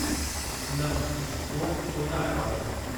न उहो कोन आयो आहे।